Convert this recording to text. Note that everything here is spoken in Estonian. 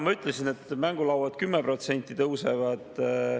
Ma ütlesin, et mängulaudadel 10% tõuseb.